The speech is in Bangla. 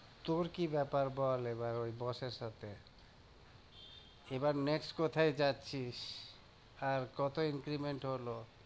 তোর কি ব্যাপার বল এবার ওই boss এর সাথে? এবার next কোথায় যাচ্ছিস? আর কত increment হলো?